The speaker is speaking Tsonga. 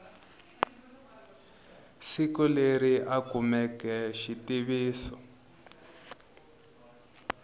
siku leri a kumeke xitiviso